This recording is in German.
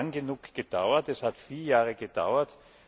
Es hat lange genug gedauert, es hat vier Jahre gedauert.